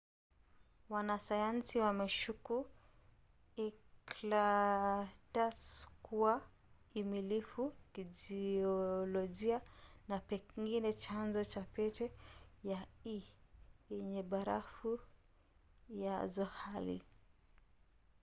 wanasayansi wameshuku enceladus kuwa amilifu kijiolojia na pengine chanzo cha pete ya e yenye barafu ya zohali